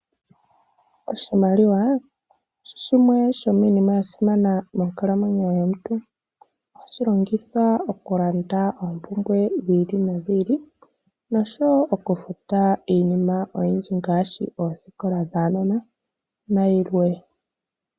Iimaliwa oyili yasimana monkalamwenyo yaantu, oshoka ohatwiilongitha oku landa oompumbwe dhetu dhili no dhiili dhakehe esiku, nosho woo oku futa oosikola dhuunona nikwawo yimwe.